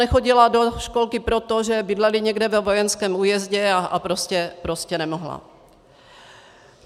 Nechodila do školky proto, že bydleli někde ve vojenském újezdu a prostě nemohla.